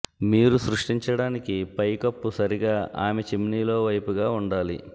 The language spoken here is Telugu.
మీరు సృష్టించడానికి పైకప్పు సరిగా ఆమె చిమ్నీ లో వైపుగా ఉండాలి